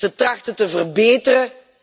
Ze trachten te verbeteren.